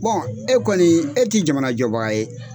e kɔni e t'i jamana jɔbaga ye.